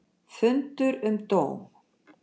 Fundur um dóm